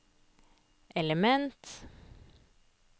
element